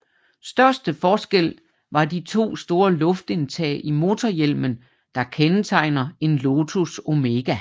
Største forskel var de 2 store luftindtag i motorhjelmen der kendetegner en Lotus Omega